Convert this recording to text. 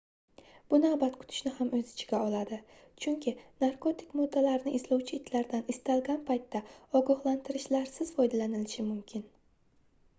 bu navbat kutishni ham oʻz ichiga oladi chunki narkotik moddalarni izlovchi itlardan istalgan paytda ogohlantirishlarsiz foydalanilishi mumkin